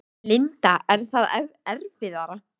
Linda: Er það erfiðara?